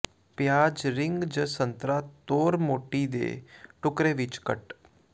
ਪਿਆਜ਼ ਰਿੰਗ ਜ ਸੰਤਰਾ ਤੌਰ ਮੋਟੀ ਦੇ ਟੁਕੜੇ ਵਿੱਚ ਕੱਟ